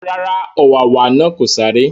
Rárá, ọ̀wàwà náà kò sáré